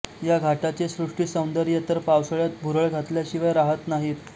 या घाटाचे सृष्टीसौंदर्य तर पावसाळ्यात भुरळ घातल्याशिवाय राहत नाहीत